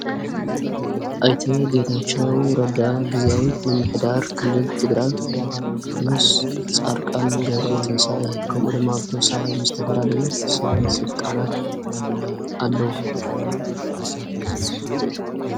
ኣይተ ጌታቸው ረዳ ጊዜያዊ ምምሕዳር ክልል ትግራይ ምስ ጻርቃን ገብረ ትንሳኤ ከምኡ ድማ ብቶ ሰሓይ ምስ ተፈላለዩ ስለ ሥልጣናት ኣለዉ።